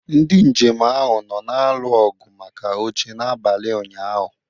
Ndị njem ahụ nọ na-alụ ọgụ maka oche n'abalị ụnyahụ.